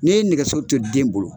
N'i ye nɛgɛsow to den bolo,